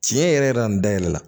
Tiɲɛ yɛrɛ yɛrɛ la nin dayɛlɛ la